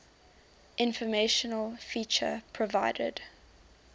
informational feature provided